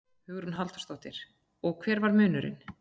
Hugrún Halldórsdóttir: Og hver var munurinn?